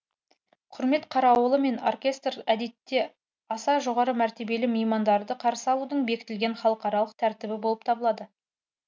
құрмет қарауылы мен оркестр әдетте аса жоғары мәртебелі меймандарды қарсы алудың бекітілген халықаралық тәртібі болып табылады